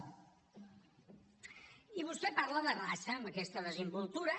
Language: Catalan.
i vostè parla de raça amb aquesta desimboltura